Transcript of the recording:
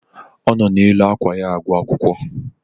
O no n'elu ákwà ya agụ akwụkwọ